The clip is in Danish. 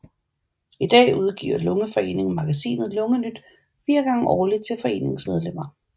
I dag udgiver Lungeforeningen magasinet Lungenyt 4 gange årligt til foreningens medlemmer